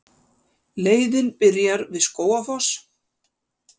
Leiðin byrjar við Skógafoss.